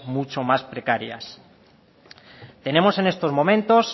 mucho más precarias tenemos en estos momentos